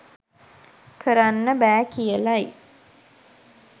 කරන්න බෑ කියලයි